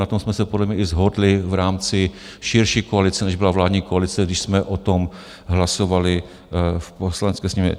Na tom jsme se podle mě i shodli v rámci širší koalice, než byla vládní koalice, když jsme o tom hlasovali v Poslanecké sněmovně.